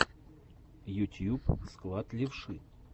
ютьюб склад левши